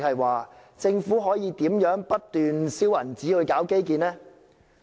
換言之，政府怎樣可以不斷燒錢搞基建？